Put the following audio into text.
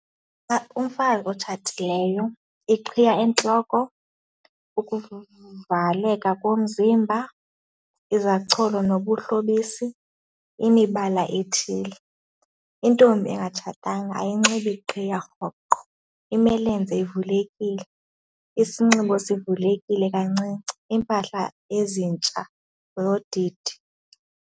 Umfazi otshatileyo, iqhiya entloko, ukuvaleka komzimba, izacholo nobuhlobisi, imibala ethile. Intombi engatshatanga ayinxibi qhiya rhoqo, imilenze ivulekile, isinxibo sivulekile kancinci, iimpahla ezintsha zodidi.